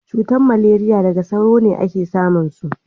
cutar maleriya daga sauro a ke samun su